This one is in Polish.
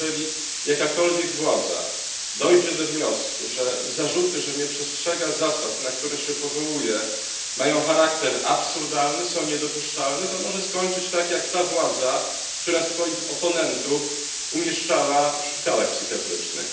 Jeżeli jakakolwiek władza dojdzie do wniosku, że zarzuty, że nie przestrzega ona zasad, na które się powołuje, mają charakter absurdalny, są niedopuszczalne, to może skończyć tak jak ta władza, która swoich oponentów umieszczała w szpitalach psychiatrycznych.